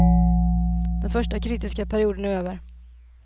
Den första kritiska perioden är över.